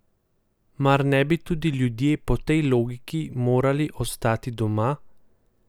Mar ne bi tudi ti ljudje po tej logiki morali ostati doma?